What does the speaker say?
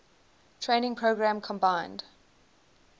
training program combined